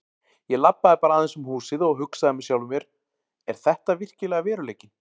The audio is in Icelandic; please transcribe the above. Ég labbaði bara aðeins um húsið og hugsaði með sjálfum mér: Er þetta virkilega veruleikinn?